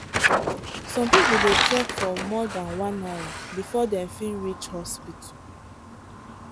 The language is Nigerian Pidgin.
some people dey trek for more than one hour before dem fit reach hospital.